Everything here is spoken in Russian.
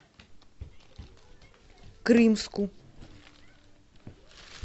крымску